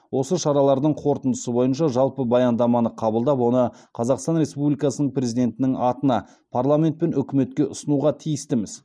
осы шаралардың қорытындысы бойынша жалпы баяндаманы қабылдап оны қазақстан республикасының президентінің атына парламент пен үкіметке ұсынуға тиістіміз